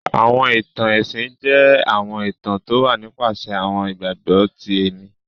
Àwọn ìtan-ẹ̀sin jẹ̀ àwọn ìtàn towà nipàsẹ̀ àwọn ìgbagbọ tì ẹ̀mì